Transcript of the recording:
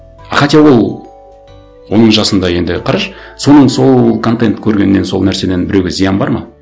а хотя ол оның жасында енді қарашы соның сол контентті көргеннен сол нәрседен біреуге зиян бар ма